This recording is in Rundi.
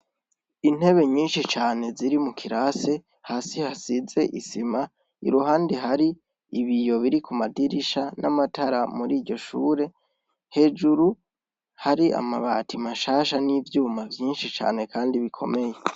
Intebe nyinshi cane ziri mu kirasi, hasi hasize isima, iruhande hari ibiyo biri ku madirisha n'amatara muri iryo shure, hejuru hari amabati mashasha n'ivyuma vyinshi cane kandi bikomeye.